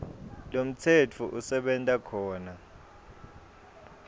lomtsetfo usebenta khona